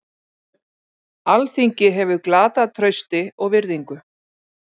Alþingi hefur glatað trausti og virðingu